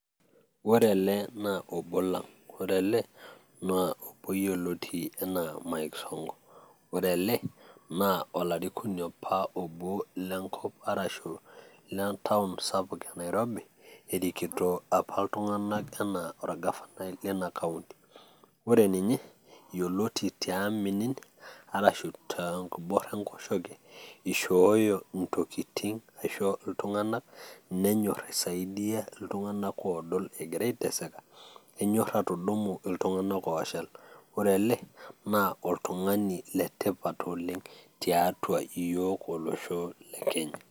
ore ele naa obo lang'.ore ele naa obo yioloti anaa Mike sonko, ore ele naa olarikoni apa lenkop, le ntaon sapuk enairobi, erikito apa iltung'anak anaa olgafanai leina kaunti, ore ninye yioloti tiaminisho aashu enkibora enkoshoke, eishooyo intokitin aisho iltung'anak nenyor aisadia iltung'anak oodol egira aitaseka, enyor atudumu iltung'anak ooshal. ore ele enyor olosho le kenya.